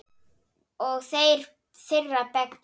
Og þeirra beggja.